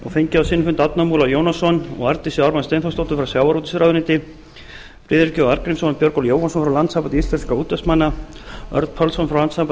fengið á sinn fund árna múla jónasson og arndísi ármann steinþórsdóttur frá sjávarútvegsráðuneyti friðrik j arngrímsson og björgólf jóhannsson frá landssambandi íslenskra útvegsmanna örn pálsson frá landssambandi